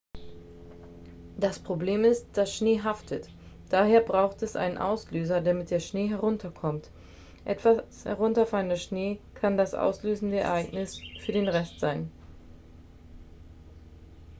das problem ist das schnee haftet daher braucht es einen auslöser damit der schnee herunterkommt etwas herunterfallender schnee kann das auslösende ereignis für den rest sein